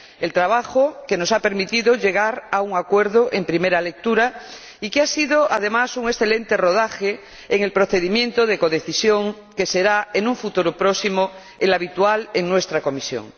El trabajo que nos ha permitido llegar a un acuerdo en primera lectura y que ha sido, además, un excelente rodaje en el procedimiento de codecisión, que será, en un futuro próximo, el habitual en nuestra comisión.